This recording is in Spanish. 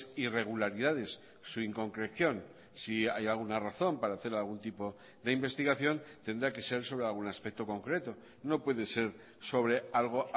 irregularidades su inconcreción si hay alguna razón para hacer algún tipo de investigación tendrá que ser sobre algún aspecto concreto no puede ser sobre algo